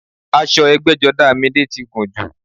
Aṣọ ẹgbẹ́jọdá Midé ti gùn jù